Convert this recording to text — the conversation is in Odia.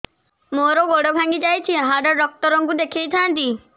ମୋର ଗୋଡ ଭାଙ୍ଗି ଯାଇଛି ହାଡ ଡକ୍ଟର ଙ୍କୁ ଦେଖେଇ ଥାନ୍ତି